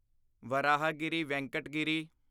Varahagiri Venkat Giri